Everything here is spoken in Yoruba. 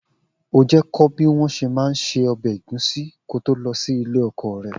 O jẹ́ kọ́ bí wọn ṣe má ń ṣe ọbẹ̀ ẹ̀gúsí ko tó lọ sí ilé ọkọ rẹ